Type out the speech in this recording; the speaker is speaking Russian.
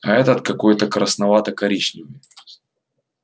а этот какой то красновато коричневый